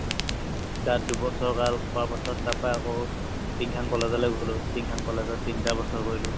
তাত দুবছৰকাল পাছত তাৰ পৰা আকৌ টিংখাং কলেজলে গ'লো টিংখাং কলেজত তিনটা বছৰ কৰিলো